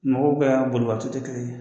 Mɔgɔw ka bolibato te kelen ye